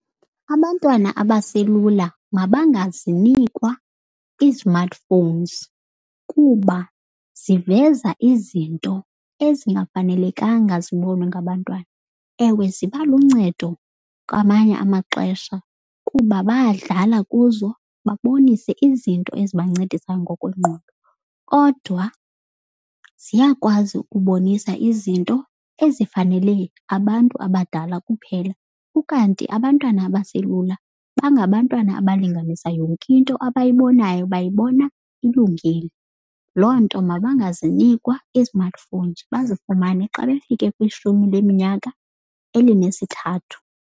Abantwana abaselula mabangazinikwa ii-smartphones kuba ziveza izinto ezingafanelekanga zibonwe ngabantwana. Ewe, ziba luncedo kwamanye amaxesha kuba bayadlala kuzo babonise izinto ezi bancedisa ngokwengqondo. Kodwa ziyakwazi ukubonisa izinto ezifanele abantu abadala kuphela, ukanti abantwana abaselula bangabantwana abalinganisa yonke into abayibonayo bayibona ilungile. Loo nto mabangazinikwa i-smartphones bazifumane xa befike kwishumi leminyaka elinesithathu.